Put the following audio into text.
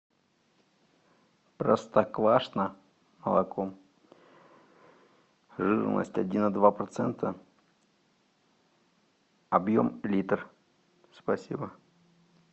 простоквашино молоко жирность один и два процента объем литр спасибо